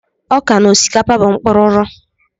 Ọka na osikapa bụ mkpururu